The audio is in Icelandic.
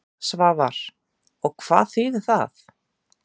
Svavar: Og hvað þýðir það?